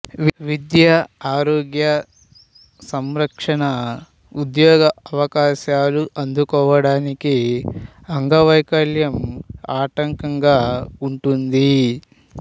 విద్య ఆరోగ్య సంరక్షణ ఉద్యోగావకాశాలు అందుకోవడానికి అంగవైకల్యం ఆటంకంగా ఉంటుంది